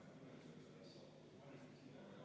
V a h e a e g